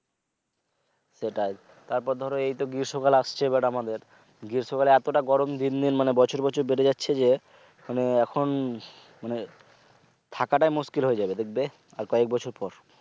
সেটাই তারপর ধরো এইতো গ্রীস্ম কাল আসছে আমাদের গ্রীস্মকালে এতটা গরম দিন দিন মানে বছর বছর বেড়ে যাচ্ছে যে মানে এখন মানে থাকাটাই মুশকিল হয়েযেৱে দেখবে আর কয়েক বছর পর